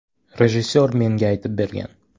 Rejissor menga aytib bergan.